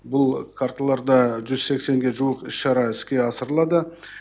бұл карталарда жүз сексенге жуық іс шара іске асырылады